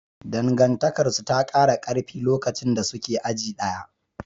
Dangantakarsu ta kara karfi lokacin da suke aji ɗaya.